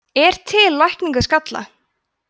er til lækning við skalla